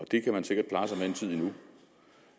det kan man sikkert klare sig med en tid endnu